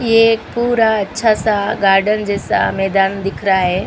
ये पूरा अच्छा सा गार्डन जैसा मैदान दिख रहा हैं ।